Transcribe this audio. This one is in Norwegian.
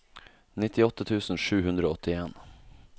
nittiåtte tusen sju hundre og åttien